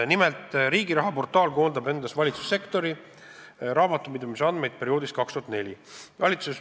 Nimelt, Riigiraha portaal koondab endas valitsussektori raamatupidamisandmeid aastast 2004.